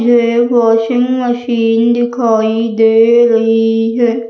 ये washing machine दिखाई दे रही है।